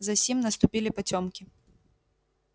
засим наступили потёмки